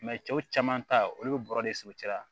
cɛw caman ta olu bɛ bɔrɔ de siri u cɛla